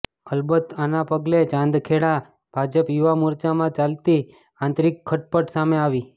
અલબત આના પગલે ચાંદખેડા ભાજપ યુવા મોરચામાં ચાલતી આંતરિક ખટપટ સામે આવી છે